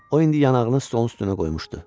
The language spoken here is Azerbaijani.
O indi yanağını stolun üstünə qoymuşdu.